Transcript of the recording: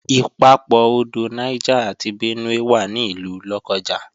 Ìpapọ̀ odò Niger àti Benue wà ní ìlú Lọ́kọ́ja